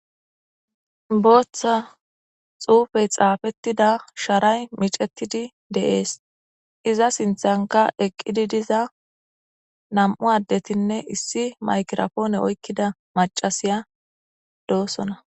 Bootha xuufe xaafetida sharay micetidi de'es iza sinthanka eqidi diza nam'u adetine issi maykiraphone macasiya de'osona.